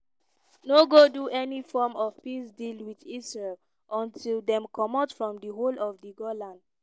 no go do any form of peace deal wit israel until dem comot from di whole of di golan.